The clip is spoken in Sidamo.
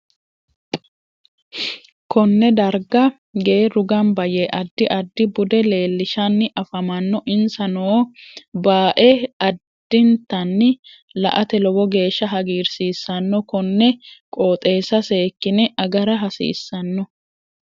Konne darga geeru ganba yee addi addi bude leelishani afamanno insa noo baae addintanni la'ate lowo geesha hagiirsiisanno konne qooxeesa seekine agara hasiisanno